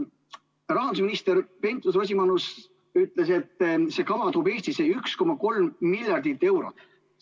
Rahandusminister Pentus-Rosimannus ütles, et see kava toob Eestisse 1,3 miljardit eurot.